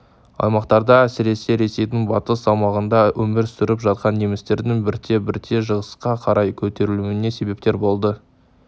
аймақтарда әсіресе ресейдің батыс аумағында өмір сүріп жатқан немістердің бірте-бірте шығысқа қарай көтерілуіне себепкер болды